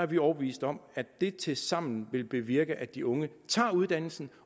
vi er overbevist om at det tilsammen vil bevirke at de unge tager uddannelsen